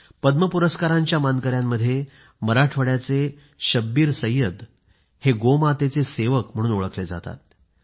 पद्म पुरस्कारांच्या मानकयांमध्ये मराठवाड्याचे शब्बीर सैयद गोमातेचे सेवक म्हणून ओळखले जातात